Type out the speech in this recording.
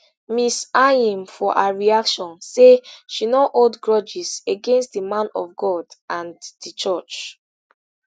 ms anyim for her reaction say she no hold grudges against di man of god and di church